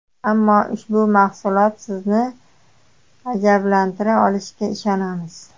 Ammo ushbu mahsulot sizni ajablantira olishiga ishonamiz.